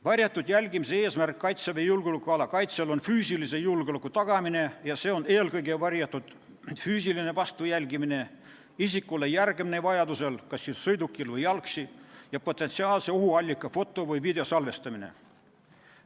Varjatud jälgimise eesmärk Kaitseväe julgeolekuala kaitsel on füüsilise julgeoleku tagamine ja see on eelkõige varjatud füüsiline vastujälgimine, isikule järgnemine vajaduse korral kas sõidukil või jalgsi ja potentsiaalse ohuallika foto- või videosalvestamine.